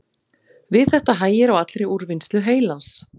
Við þetta hægir á allri úrvinnslu heilans.